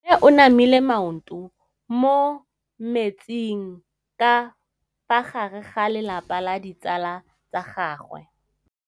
Mme o namile maoto mo mmetseng ka fa gare ga lelapa le ditsala tsa gagwe.